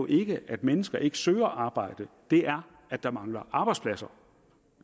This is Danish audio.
ikke er at mennesker ikke søger arbejde det er at der mangler arbejdspladser